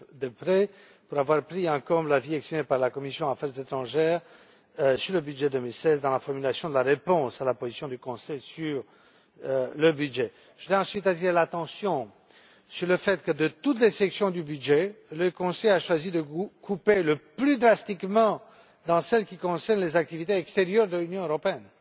Deprez, d'avoir pris en compte l'avis exprimé par la commission des affaires étrangères sur le budget 2016 dans la formulation de la réponse à la position du Conseil sur le budget. Je tiens ensuite à attirer l'attention sur le fait que, de toutes les sections du budget, le Conseil a choisi de couper le plus drastiquement dans celle qui concerne les activités extérieures de l'Union européenne.